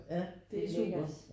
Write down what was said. Ja det er super